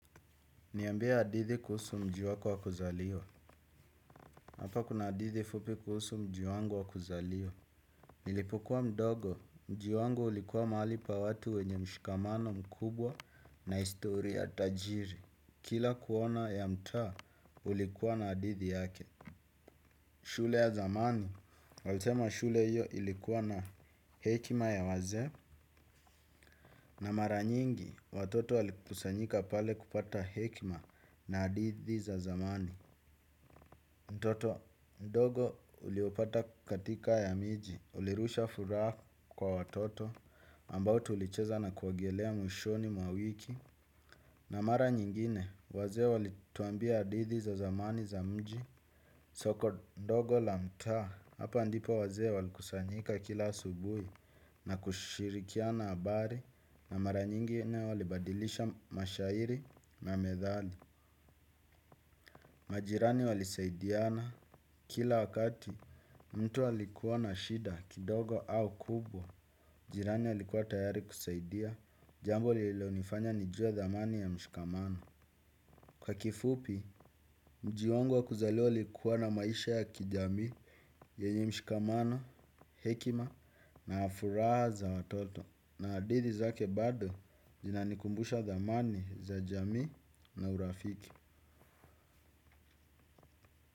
Niambie hadithi kuhusu mji wako wa kuzaliwa. Hapa kuna hadithi fupi kuhusu mji wangu wa kuzaliwa. Nilipokuwa mdogo, mji wangu ulikuwa mahali pa watu wenye mshikamano mkubwa na historia tajiri. Kila kona ya mtaa, ulikuwa na hadithi yake. Shule ya zamani, walisema shule hiyo ilikuwa na hekima ya wazee na mara nyingi, watoto walikusanyika pale kupata hekima na hadithi za zamani. Mtoto mdogo uliopata katika ya miji, ulirusha furaha kwa watoto ambao tulicheza na kuogelea mwishoni mwa wiki. Na mara nyingine, wazee walituambia hadithi za zamani za mji. Soko ndogo la mtaa, hapa ndipo wazee walikusanyika kila asubuhi na kushirikiana habari na mara nyingine walibadilisha mashahiri na methali. Majirani walisaidiana kila wakati mtu walikuwa na shida kidogo au kubwa. Jirani alikuwa tayari kusaidia jambo lililonifanya nijue dhamani ya mshikamano. Kwa kifupi, mji wangu wa kuzaliwa ilikuwa na maisha ya kijamii yenye mshikamano, hekima na furaha za watoto. Na hadithi zake bado zina nikumbusha dhamani za jamii na urafiki.